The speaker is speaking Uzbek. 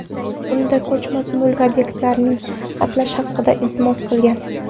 Unda ko‘chmas mulk obyektlarini xatlash haqida iltimos qilingan.